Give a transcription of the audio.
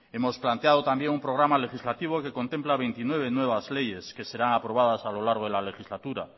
hemos planteado también un programa legislativo que contempla veintinueve nuevas leyes que serán aprobadas a lo largo de la legislatura